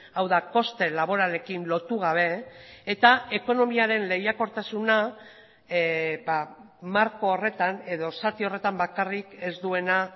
hau da koste laboralekin lotu gabe eta ekonomiaren lehiakortasuna marko horretan edo zati horretan bakarrik ez duena